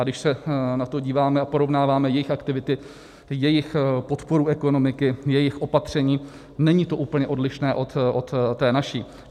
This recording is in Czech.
A když se na to díváme a porovnáváme jejich aktivity, jejich podporu ekonomiky, jejich opatření, není to úplně odlišné od té naší.